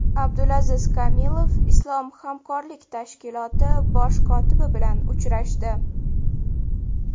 Abdulaziz Kamilov Islom hamkorlik tashkiloti bosh kotibi bilan uchrashdi.